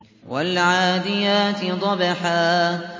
وَالْعَادِيَاتِ ضَبْحًا